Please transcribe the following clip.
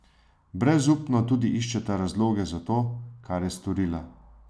Brezupno tudi iščeta razloge za to, kar je storila.